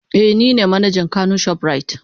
Eh nine manajan kano shoprite.